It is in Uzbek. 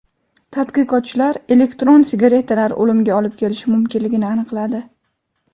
Tadqiqotchilar elektron sigaretalar o‘limga olib kelishi mumkinligini aniqladi.